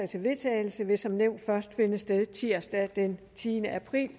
til vedtagelse vil som nævnt først finde sted tirsdag den tiende april